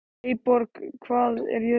Eyborg, hvað er jörðin stór?